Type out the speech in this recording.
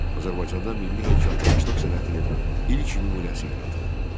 Azərbaycanda milli heykəltaraşlıq sənətinin ilk nümunəsi yaradıldı.